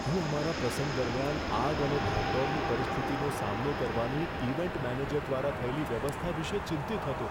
હું અમારા પ્રસંગ દરમિયાન આગ અને ભાગદોડની પરિસ્થિતિનો સામનો કરવાની ઇવેન્ટ મેનેજર દ્વારા થયેલી વ્યવસ્થા વિશે ચિંતિત હતો.